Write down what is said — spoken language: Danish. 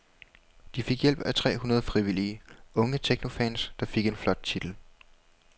De fik hjælp af tre hundrede frivillige, unge technofans, der fik en flot titel.